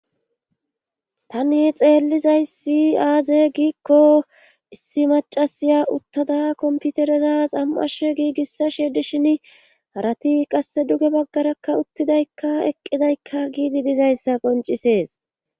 tani xeellizayssi aaze giikko issi macasiya uttada komputereza xam7ash giigissa she dishin harati qasse duge baggarakka uttidaykka eqqidaykka giidi dizayssa qoncisees